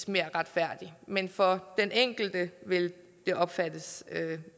mere retfærdig men for den enkelte vil det opfattes